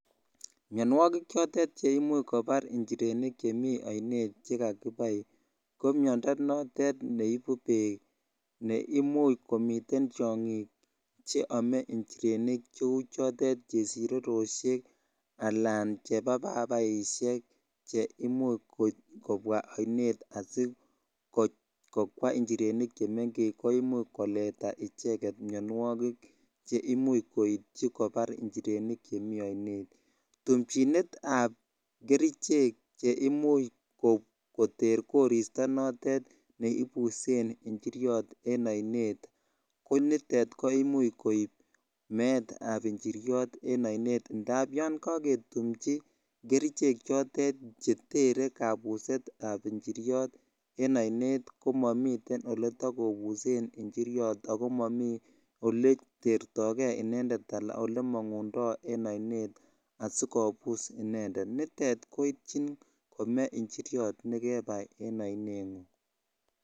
Mianwogik chotet che imuch kopar njirenik chemi ainet che kakipai ko minada notet ne ipu peek. Ko imuchi komitei tiang'ik che ame njirenik che u chotet chepsireroshek, alan chepapapaishek che imuch kopwa ainet asikoweinjirenik che mengech ko much koleta icheget mianwagik che imuch koitui kopar njireni che miten ainet. Tumchinet ap kerichek che imuch koter korista notet ne ipuse njiryot en ainet ko nitet ko much koip meet ap njiryot en ainet. Ndap yan kaketumchi kerichek chotet che tere kapuset ap njiryot en ainet ko mamiten ole takopusei injiryot ako mami ole tertai gei, ole mang'undai en aino adikopus inendet. Nitet koitchin kome njiryot ne kepai en aineng'ung'.